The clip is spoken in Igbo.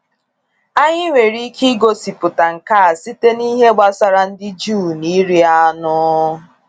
Anyị nwere ike igosipụta nke a site n’ihe gbasara ndị Juu na iri anụ.